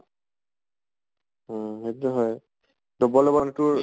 উম সেইতো টো হয় তোৰ